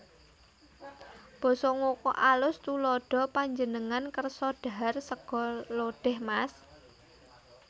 Basa Ngoko AlusTuladha Panjenengan kersa dhahar sega lodèh Mas